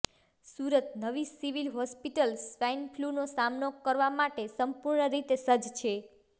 સુરત નવી civil hospital swine ફ્લૂનો સામનો કરવા માટે સંપૂર્ણ રીતે સજજ છે